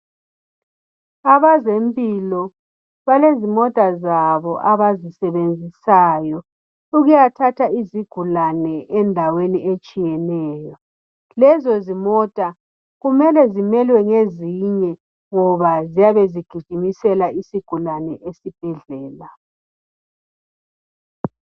Abazempilo balezimota zabo abazisebenzisayo ukuyathatha izigulane endaweni ezitshiyeneyo lezozimota kumele zimelwe ngezinye ngoba ziyabe zigijimisela isigulane esibhedlela.